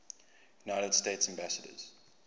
united states ambassadors